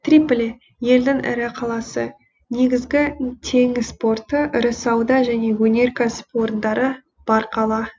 триполи елдің ірі қаласы негізгі теңіз порты ірі сауда және өнеркәсіп орындары бар қала